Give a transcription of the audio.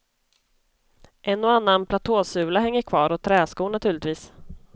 En och annan platåsula hänger kvar och träskor naturligtvis.